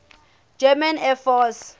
german air force